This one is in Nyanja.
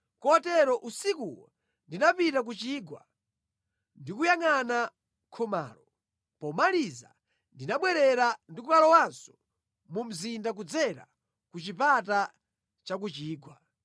Kotero usikuwo ndinapita ku chigwa, ndikuyangʼana khomalo. Pomaliza ndinabwerera ndi kukalowanso mu mzinda kudzera ku Chipata cha ku Chigwa.